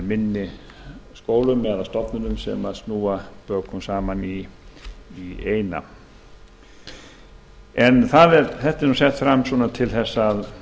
minni skólum eða stofnunum sem snúa bökum saman í eina þetta er sett fram til þess að